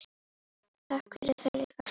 Takk fyrir það líka.